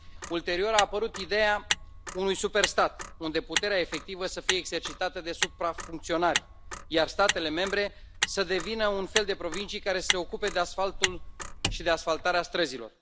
Ulterior, a apărut ideea unui superstat, unde puterea efectivă să fie exercitată de suprafuncționari, iar statele membre să devină un fel provincii care să se ocupe de asfaltul și de asfaltarea străzilor.